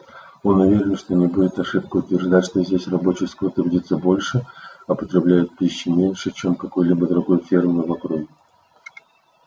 он уверен что не будет ошибкой утверждать что здесь рабочий скот трудится больше а потребляет пищи меньше чем на какой-либо другой ферме в округе